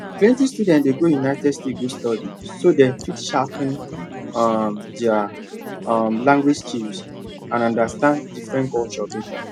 plenty students dey go united states go study so dem fit sharpen um their um language skills and understand different cultures better